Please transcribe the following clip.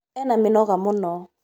ena mĩnoga mũno